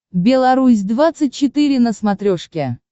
белорусь двадцать четыре на смотрешке